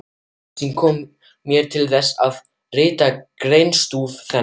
Auglýsingin kom mér til þess, að rita greinarstúf þennan.